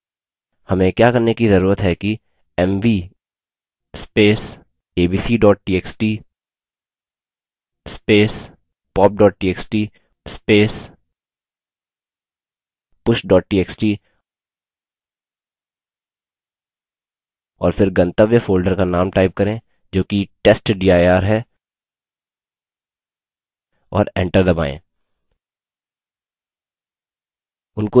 हमें क्या करने कि जरूरत है कि mv abc txt pop txt push txt और फिर गंतव्य folder का name type करें जो कि testdir है और enter दबायें